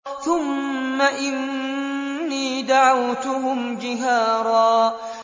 ثُمَّ إِنِّي دَعَوْتُهُمْ جِهَارًا